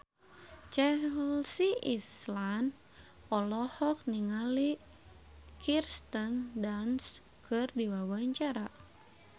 Chelsea Islan olohok ningali Kirsten Dunst keur diwawancara